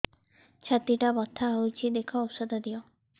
ଛାତି ଟା ବଥା ହଉଚି ଦେଖ ଔଷଧ ଦିଅ